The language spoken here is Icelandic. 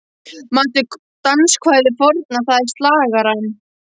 Manstu danskvæðið forna, það er slagarann